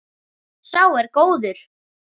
Sá er góður.